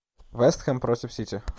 вест хэм против сити